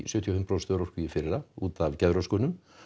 sjötíu og fimm prósent örorku í fyrra út af geðröskunum